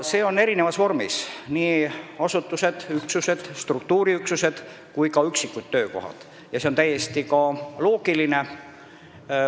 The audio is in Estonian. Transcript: Seda tehakse erinevas vormis, nii asutuste, struktuuriüksuste kui ka üksikute töökohtade kaupa, mis on täiesti loogiline.